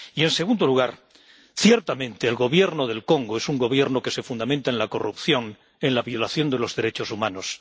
Y, en segundo lugar, ciertamente, el Gobierno del Congo es un gobierno que se fundamenta en la corrupción, en la violación de los derechos humanos.